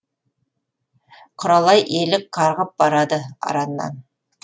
құралай елік қарғып барады араннан